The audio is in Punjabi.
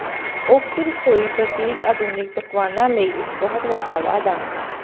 ਓਕ ਰਸੋਈ ਪ੍ਰਤੀਕ ਆਧੁਨਿਕ ਪਕਵਾਨਾਂ ਲਈ ਇੱਕ ਬਹੁਤ ਵੱਡਾ ਵਾਧਾ